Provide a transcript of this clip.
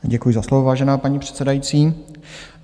Děkuji za slovo, vážená paní předsedající.